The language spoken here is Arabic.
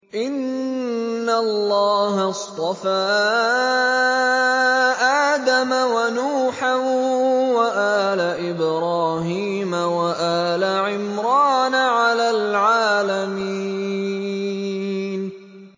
۞ إِنَّ اللَّهَ اصْطَفَىٰ آدَمَ وَنُوحًا وَآلَ إِبْرَاهِيمَ وَآلَ عِمْرَانَ عَلَى الْعَالَمِينَ